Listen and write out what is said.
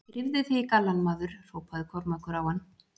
Drífðu þig í gallann, maður, hrópaði Kormákur á hann.